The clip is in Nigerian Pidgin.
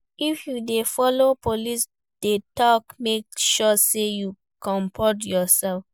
If you de follow police de talk make sure say you comport yourself